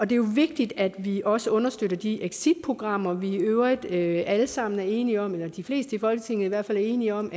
det er jo vigtigt at vi også understøtter de exitprogrammer vi i øvrigt alle sammen er enige om eller de fleste i folketinget i hvert fald er enige om